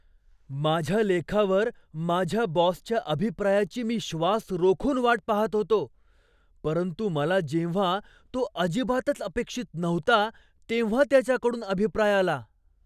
माझ्या लेखावर माझ्या बॉसच्या अभिप्रायाची मी श्वास रोखून वाट पाहत होतो, परंतु मला जेव्हां तो अजिबातच अपेक्षित नव्हता तेव्हा त्याच्याकडून अभिप्राय आला.